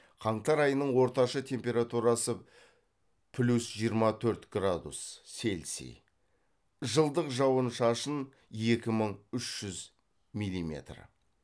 қаңтар айының орташа температурасы плюс жиырма төрт градус цельсий жылдық жауын шашын екі мың үш жүз миллиметр